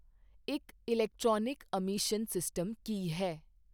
ਇੱਕ electronic emission system ਕੀ ਹੈ